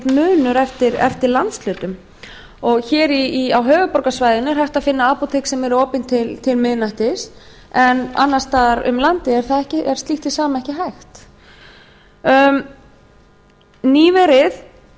munur eftir landshlutum hér á höfuðborgarsvæðinu er hægt að finna apótek sem eru opin til miðnættis en afar staðar um landið er slíkt hið sama ekki hægt